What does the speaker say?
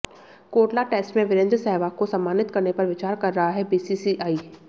Kotla test में वीरेंद्र सहवाग को सम्मानित करने पर विचार कर रहा है बीसीसीआई